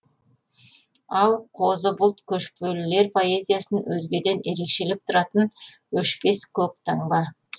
ал қозы бұлт көшпелілер поэзиясын өзгеден ерекшелеп тұратын өшпес көк таңба